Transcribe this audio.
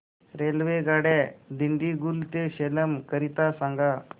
रेल्वेगाड्या दिंडीगुल ते सेलम करीता सांगा